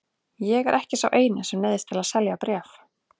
Ég er ekki sá eini sem neyðist til að selja bréf.